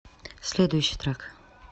следующий трек